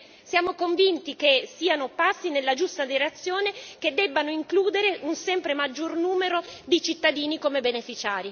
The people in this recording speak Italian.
Siamo convinti che siano passi nella giusta direzione, che devono includere un sempre maggior numero di cittadini come beneficiari.